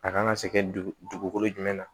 A kan ka se kɛ dugukolo jumɛn na